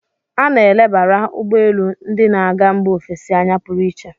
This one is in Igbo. A na-elebara ugbọ elu ndị na-aga mba ofesi anya pụrụ iche.